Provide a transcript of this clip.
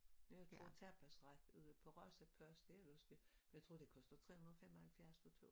Jeg har fået tapasret ude på Râzapâz det måske jeg tror det koster 375 for 2